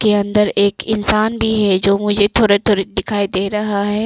के अंदर एक इंसान भी है जो मुझे थोड़ा थोड़ा दिखाई दे रहा है।